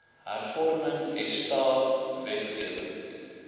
hervorming esta wetgewing